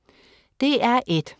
DR1: